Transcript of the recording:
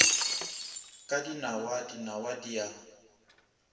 ka dinawa dinawa di a